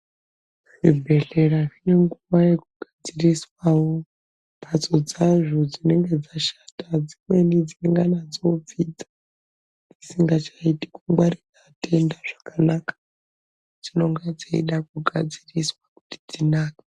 Zvibhedhlera zvinenguwawo yekugadziriswawo mhatso dzazvo dzinenge dzashata. Dzimweni dzinongana dzoobvinza, dzisingachaiti kungwarira atenda zvakanaka. Dzinonga dzeida kugadziriswa kuti dzinake.